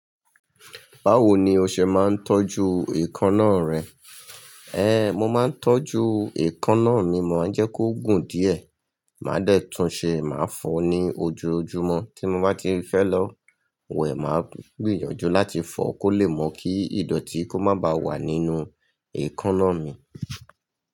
Báwo ni o ṣe máa ń tọ́jú èékánná rẹ? Ẹ́, mo máa ń tọ́jú èékánná mi, mo máa ń jẹ́ kó gùn díẹ̀, màá dẹ́tùn ṣe, màá fọ ní ojoojúmọ́. Tí mo bá ti fẹ́ lọ wẹ̀, màá gbìyànjú láti fọ kó lè mọ̀ kí ìdọ̀tí kó má ba wà nínú èékánná mi.